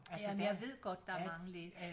Ja men jeg ved godt der er mange